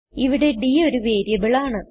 ഇവിടെ d ഒരു variable ആണ്